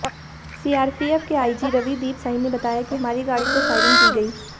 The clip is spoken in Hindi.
सीआरपीएफ के आईजी रविदीप साही ने बताया कि हमारी गाड़ी पर फायरिंग की गई